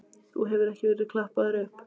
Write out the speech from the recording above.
Þú hefur ekki verið klappaður upp?